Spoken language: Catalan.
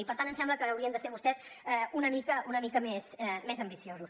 i per tant ens sembla que haurien de ser vostès una mica més ambiciosos